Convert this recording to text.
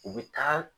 U bɛ taa